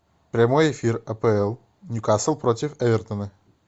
прямой эфир апл ньюкасл против эвертона